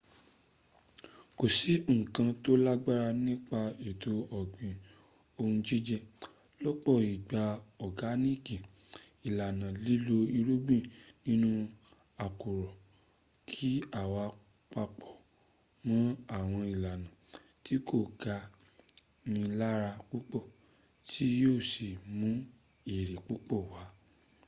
kò sí nǹkan tó lágbára nípa ètò ọ̀gbìn ohun jíjẹ lọ́pọ̀ ìgbà ọ̀gáníìkì ìlànà lílo irúgbìn nínú àkùrọ̀ kí a wá paápọ̀ mọ́ àwọn ìlànà tí kò ga ni lára púpọ̀ tí yóò sí mú èrè púpọ̀ w